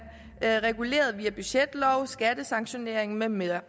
er reguleret via budgetlov skattesanktionering med mere